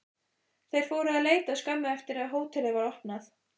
Þeir fóru að leita skömmu eftir að hótelið var opnað.